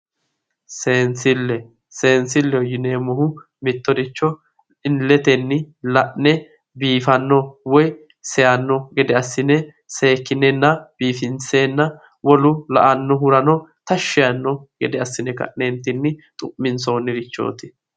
seensilleho yineemmohu mittoricho illetenni la'ne biifanno woyi seeyaanno gede assine seekkinenna biifinseenna wolu la'annohuranno seeyaanno gede assine ka'neentinni xu'minsoonnirichooti.